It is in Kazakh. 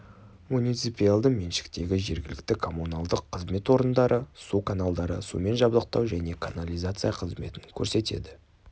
муниципиалды меншіктегі жергілікті коммуналдық қызмет орындары су каналдары сумен жабдықтау және канализация қызметін көрсетеді